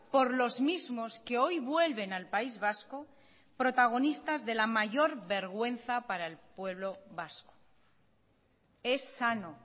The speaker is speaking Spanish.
por los mismos que hoy vuelven al país vasco protagonistas de la mayor vergüenza para el pueblo vasco es sano